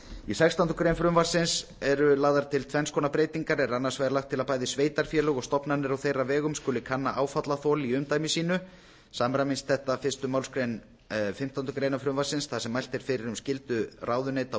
í sextándu grein frumvarpsins eru lagðar til tvenns konar breytingar er annars vegar lagt til að bæði sveitarfélög og stofnanir á þeirra vegum skuli kanna áfallaþol í umdæmi sínu samræmist þetta fyrsta málsgrein fimmtándu greinar frumvarpsins þar sem mælt er fyrir um skyldu ráðuneyta og